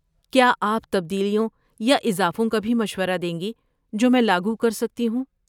کیا آپ تبدیلیوں یا اضافوں کا بھی مشورہ دیں گی جو میں لاگو کر سکتی ہوں؟